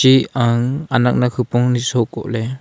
i ang anak nak khupong sok koh ley.